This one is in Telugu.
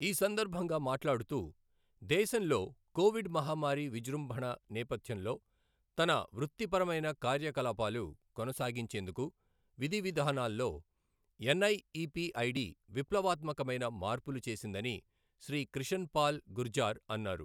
ఈ సందర్భంగా మాట్లాడుతూ దేశంలో కోవిడ్ మహమ్మారి విజృంభణ నేపథ్యంలో తన వృత్తిపరమైన కార్యకలాపాలు కొనసాగించేందుకు విధివిధానాల్లో ఎన్ఐఇపిఐడి విప్లవాత్మకమైన మార్పులు చేసిందని శ్రీ క్రిషన్ పాల్ గుర్జార్ అన్నారు.